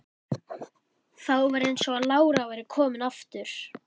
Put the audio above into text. Þá var eins og lára væri komin aftur.